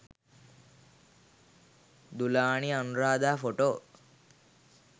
dulani anuradha photo